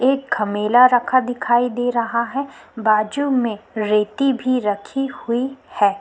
एक घमेला रखा दिखाई दे रहा है बाजू में रेती भी रखी हुई है।